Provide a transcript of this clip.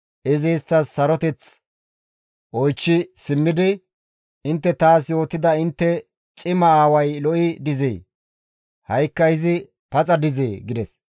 Izi istta saroteth oychchi simmidi, «Intte taas yootida intte cima aaway lo7i dizee? Ha7ikka izi paxa dizee?» gides.